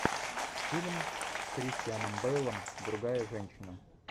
фильм с кристианом бейлом другая женщина